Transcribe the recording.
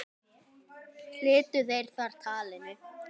Slitu þeir þar talinu.